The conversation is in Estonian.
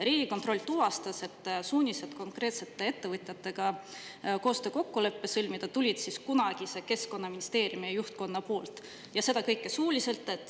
Riigikontroll tuvastas, et suunised konkreetsete ettevõtjatega koostöökokkulepe sõlmida tulid kunagise Keskkonnaministeeriumi juhtkonnalt ja see kõik suuliselt.